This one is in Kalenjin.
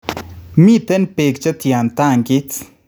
Miten peek chetyan tankiit